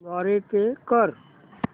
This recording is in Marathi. द्वारे पे कर